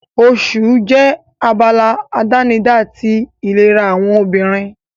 Oṣù jẹ́ abala àdánidá ti ìlera àwọn obìnrin.